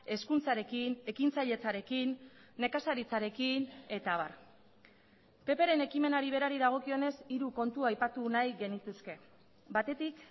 hezkuntzarekin ekintzailetzarekin nekazaritzarekin eta abar ppren ekimenari berari dagokionez hiru kontu aipatu nahi genituzke batetik